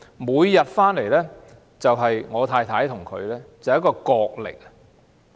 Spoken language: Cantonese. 每天放學回家後，就和我太太展開角力。